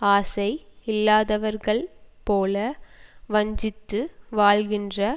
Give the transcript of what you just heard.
ஆசை இல்லாதவர்கள் போல வஞ்சித்து வாழ்கின்ற